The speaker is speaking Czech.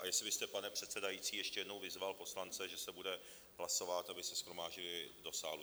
A jestli byste, pane předsedající, ještě jednou vyzval poslance, že se bude hlasovat, aby se shromáždili do sálu.